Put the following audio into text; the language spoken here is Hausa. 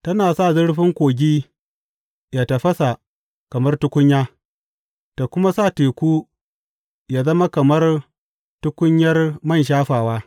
Tana sa zurfin kogi yă tafasa kamar tukunya, ta kuma sa teku yă zama kamar tukunyar man shafawa.